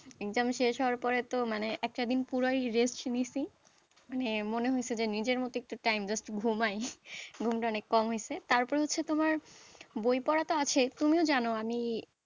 Exam শেষ হওয়ার পরে তো মানে একটা দিন পুরোই rest নিয়েছি মানে মনে হয়েছে যে নিজের মতো একটু time, just ঘুমায়, ঘুমটা অনেক কম হয়েছে, তারপরে হচ্ছে তোমার বই পড়া তো আছে তুমিও জানো আমি,